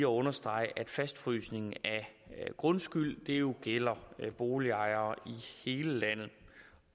understrege at fastfrysning af grundskylden jo gælder boligejere i hele landet